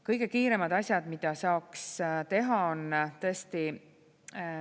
Kõige kiiremad asjad, mida saaks teha, on tõesti …